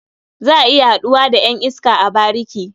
Za a iya haɗuwa da ƴan iska a bariki.